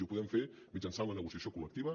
i ho podem fer mitjançant la negociació col·lectiva